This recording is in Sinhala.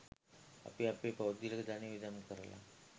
අපි අපේ පෞද්ගලික ධනය වියදම් කරලා